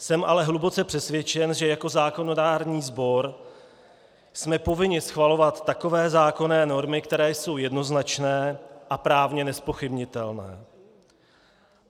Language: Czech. Jsem ale hluboce přesvědčen, že jako zákonodárný sbor jsme povinni schvalovat takové zákonné normy, které jsou jednoznačné a právně nezpochybnitelné.